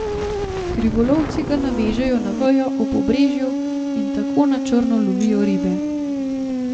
Krivolovci ga navežejo na vejo ob obrežju in tako na črno lovijo ribe.